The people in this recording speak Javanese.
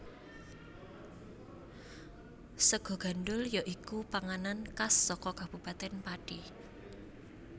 Sega gandhul ya iku panganan khas saka Kabupatèn Pati